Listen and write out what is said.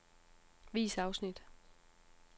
Vis afsnit.